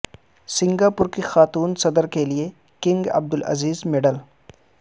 Singapore کی خاتون صدر کے لیے کنگ عبدالعزیز میڈل